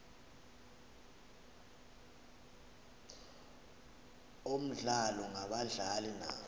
omdlalo ngabadlali naba